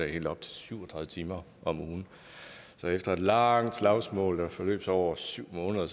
helt op til syv og tredive timer så efter et langt slagsmål der forløb sig over syv måneder